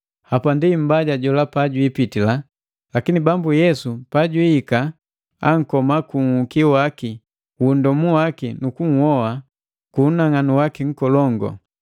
Hapandi Mmbaja jola pajwiipitila, lakini Bambu Yesu pajiika ankoma ku nhuki wu nndomu waki nu kunhoa ku unang'anu waki nkolongu.